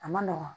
A ma nɔgɔn